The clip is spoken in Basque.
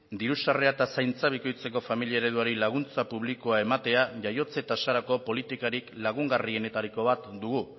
diru sarrera eta zaintza bikoitzeko familia ereduari laguntza publikoa ematea jaiotze tasarako politikarik lagungarrienetariko bat dugu